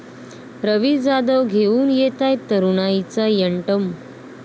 रवी जाधव घेऊन येतायत तरुणाईचा 'यंटम'!